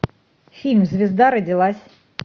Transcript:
фильм звезда родилась